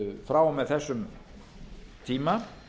frá og með þessum tíma